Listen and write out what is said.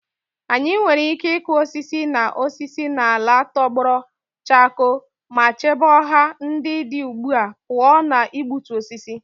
Anyị nwere ike ịkụ osisi na osisi n'ala tọgbọrọ chakoo ma chebe ọhịa ndị dị ugbu a pụọ ​​na igbutu osisi.